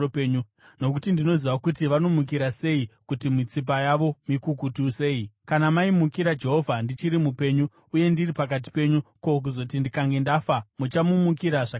Nokuti ndinoziva kuti vanomukira sei uye kuti mitsipa yavo mikukutu sei. Kana maimukira Jehovha ndichiri mupenyu uye ndiri pakati penyu, ko, kuzoti ndikange ndafa muchamumukira zvakadii!